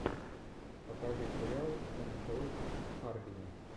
покажи сериал все началось в харбине